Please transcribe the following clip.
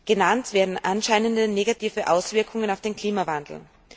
Genannt werden anscheinende negative Auswirkungen auf den Klimawandel.